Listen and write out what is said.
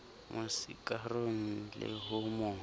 mo sikarong le ho mo